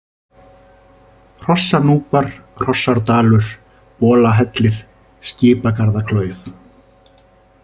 Hrossanúpar, Hrossárdalur, Bolahellir, Skipagarðaklauf